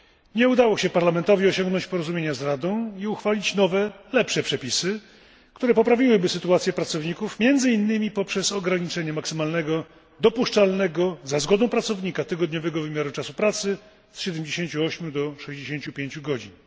Nie udało się Parlamentowi osiągnąć porozumienia z Radą i uchwalić nowych, lepszych przepisów, które poprawiłyby sytuację pracowników, między innymi poprzez ograniczenie maksymalnego, dopuszczalnego za zgodą pracownika, tygodniowego wymiaru czasu pracy z 78 do 65 godzin.